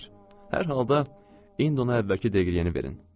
Hər halda, indi ona əvvəlki deqriyəni verin.